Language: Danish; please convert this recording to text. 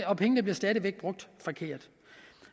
og pengene bliver stadig væk brugt forkert